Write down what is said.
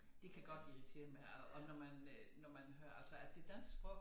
Det kan godt irritere mig og og når man øh når man hører altså at det danske sprog